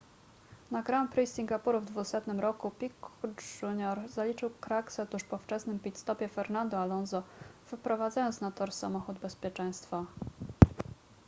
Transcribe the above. na grand prix singapuru w 200 roku piquet jr zaliczył kraksę tuż po wczesnym pit stopie fernando alonso wyprowadzając na tor samochód bezpieczeństwa